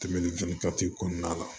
Tɛmɛnen fɛn kati kɔnɔna la